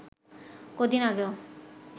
কদিন আগেও